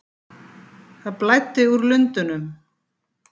Það blæddi úr lundunum.